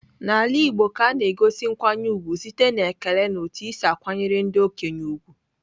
N'ala igbo ka a na-egosi nkwanye ugwu site n'ekele na otu i si akwanyere ndị okenye ugwu.